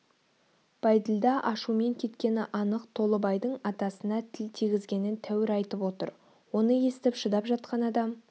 бәйділда ашумен кеткені анық толыбайдың атасына тіл тигізгенін тәуір айтып отыр оны естіп шыдап жатқан адам